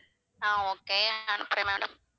ஆஹ் okay அனுப்புறேன் madam